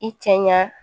I cɛ ɲa